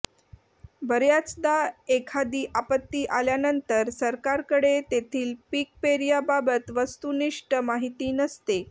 बर्याचदा एखादी आपत्ती आल्यानंतर सरकारकडे तेथील पीकपेर्याबाबत वस्तुनिष्ठ माहिती नसते